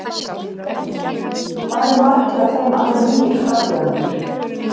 Heimir: Hvað eru margir af þeim alveg nýir frambjóðendur?